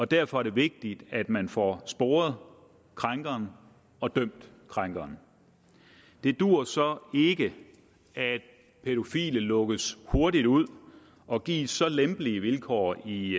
derfor er det vigtigt at man får sporet krænkeren og dømt krænkeren det duer så ikke at pædofile lukkes hurtigt ud og gives så lempelige vilkår i